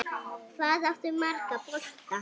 Hvað áttu marga bolta?